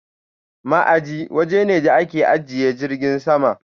Ma'aji waje ne da ake ajiye jirgin sama.